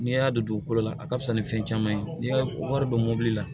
N'i y'a don dugukolo la a ka fisa ni fɛn caman ye n'i y'a wari don mɔbili la